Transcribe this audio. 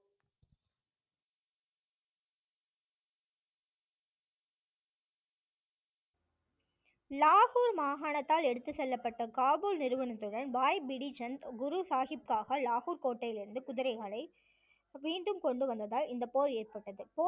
லாஹுர் மாகாணத்தால் எடுத்துச் செல்லப்பட்ட காபூல் நிறுவனத்துடன் பாய் பிடிஜெந்த் குரு சாஹிப்புக்காக லாஹுர் கோட்டையிலிருந்து குதிரைகளை மீண்டும் கொண்டு வந்ததால் இந்த போர் ஏற்பட்டது